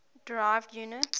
derived units